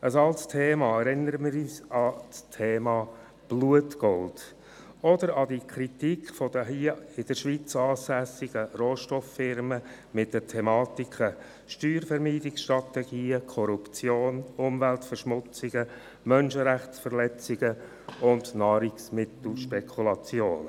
Ein altes Thema: Erinnern wir uns an das Thema Blutgold oder an die Kritik an den hier in der Schweiz ansässigen Rohstofffirmen mit den Thematiken Steuervermeidungsstrategien, Korruption, Umweltverschmutzung, «Menschenrechtverletzungen und Nahrungsmittelspekulation.